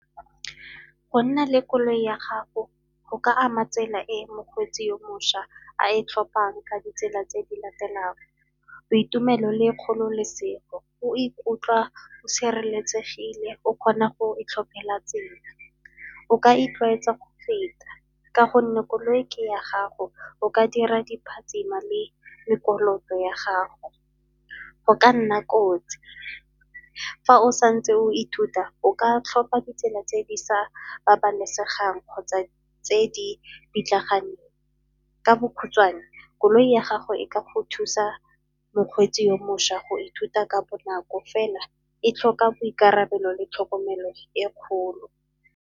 Go nna le koloi ya gago go ka ama tsela e mokgweetsi yo mošwa a e tlhophang ka ditsela tse di latelang, boitumelo le kgololesego o ikutlwa o sireletsegile o kgona go itlhophela tsela. O ka itlwaetsa go feta ka gonne koloi ke ya gago, o ka dira di phatsimisa le ya gago. Go ka nna kotsi, fa o sa ntse o ithuta o ka tlhopa ditsela tse di sa babalesegang kgotsa tse di pitlaganeng. Ka bokhutshwane koloi ya gago e ka go thusa mokgweetsi yo mošwa go ithuta ka bonako fela e tlhoka boikarabelo le tlhokomelo e kgolo.